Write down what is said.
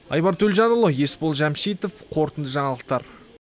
айбар төлжанұлы есбол жәмшитов қорытынды жаңалықтар